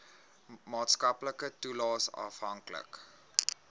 maatskaplike toelaes afhanklik